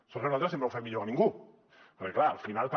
sort que nosaltres sempre ho fem millor que ningú perquè clar al final també